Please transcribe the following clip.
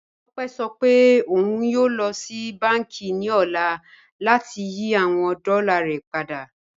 Tópẹ̀ sọ pé ọ̀un yóò lọ sí bánkì ni ọ̀lá láti yí awọn dọ́là rẹ̀ padà